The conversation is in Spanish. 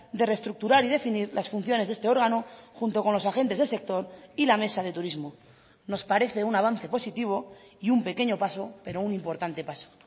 de reestructurar y definir las funciones de este órgano junto con los agentes del sector y la mesa de turismo nos parece un avance positivo y un pequeño paso pero un importante paso